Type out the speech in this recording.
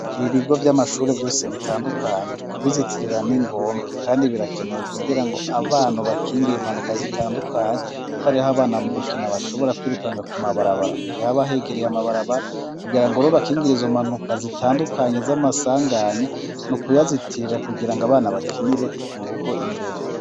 Ibigo by'amashuri byose bitandukanye kubizitirira n'ingombwa kandi birakenewe kugira ngo abantu bakingira impanuka zitandukanye kuko ariho abana mu gukina bashobora kwirukanga ku mabarabara mugihe abahegereye amabarabara kugira ngo ruba kingirizo mpanuka zitandukanye z'amasanganya no kuyazitirira kugira ngo abana bakinire mu rugo imbere.